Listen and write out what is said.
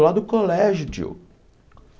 Lá do colégio, tio.